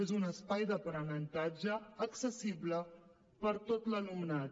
és un espai d’aprenentatge accessible per a tot l’alumnat